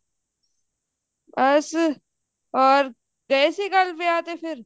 ਬਸ ਹਰੋ ਗਏ ਸੀ ਕੱਲ ਵਿਆਹ ਤੇ ਫ਼ੇਰ